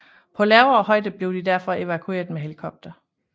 På lavere højde blev de derfor evakueret med helikopter